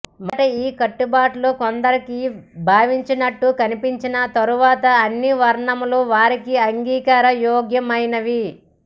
మొదట ఈ కాట్టుబాట్లు కొందరికి బాధించినట్టు కనిపించినా తరువాత అన్ని వర్ణముల వారికీ అంగీకార యోగ్యమైనవి